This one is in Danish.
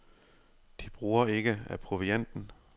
De bruger ikke af provianten.